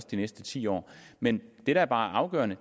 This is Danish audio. de næste ti år men det der bare er afgørende